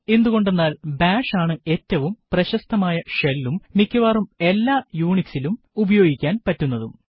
എന്തുകൊണ്ടെന്നാൽ ബാഷ് ആണ് ഏറ്റവും പ്രശസ്തമായ shellഉം മിക്കവാറും എല്ലാ UNIXലും ഉപയോഗിക്കാൻ പറ്റുന്നതും